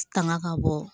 Tanga ka bɔ